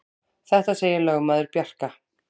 Þetta segir lögmaður Bjarka.